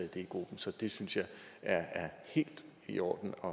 det i gruppen så jeg synes det er helt i orden at